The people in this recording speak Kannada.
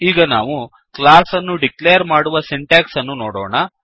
ಈಗ ನಾವು ಕ್ಲಾಸ್ ಅನ್ನು ಡಿಕ್ಲೇರ್ ಮಾಡುವ ಸಿಂಟ್ಯಾಕ್ಸ್ ಅನ್ನು ನೋಡೋಣ